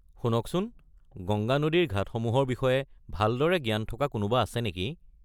শুনকচোন, গংগা নদীৰ ঘাটসমূহৰ বিষয়ে ভালদৰে জ্ঞান থকা কোনোবা আছে নেকি?